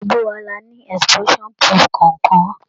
Gbogbo wa la ni explosion proof kọ̀ọ̀kan.